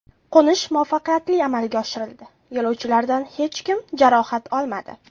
Qo‘nish muvaffaqiyatli amalga oshirildi, yo‘lovchilardan hech kim jarohat olmadi.